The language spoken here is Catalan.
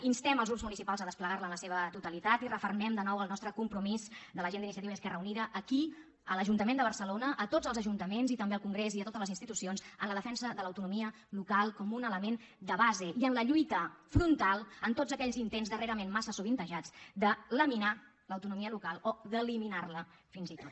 instem els grups municipals a desplegar la en la seva totalitat i refermem de nou el nostre compromís de la gent d’iniciativa i esquerra unida aquí a l’ajuntament de barcelona a tots els ajuntaments i també al congrés i a totes les institucions amb la defensa de l’autonomia local com un element de base i amb la lluita frontal contra tots aquells intents darrerament massa sovintejats de laminar l’autonomia local o d’eliminar la fins i tot